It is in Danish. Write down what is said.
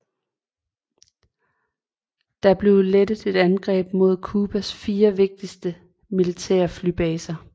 Der blev rettet et angreb mod Cubas fire vigtigste militære flybaser